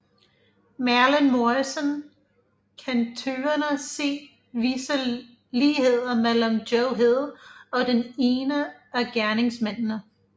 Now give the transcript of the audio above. Merlin Morrison kan tøvende se visse ligheder mellem Joe Hill og den ene af gerningsmændene